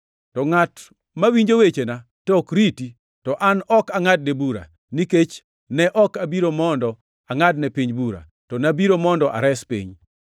“To ngʼat mawinjo wechena to ok riti, to an ok angʼadne bura, nikech ne ok abiro mondo angʼadne piny bura, to nabiro mondo ares piny.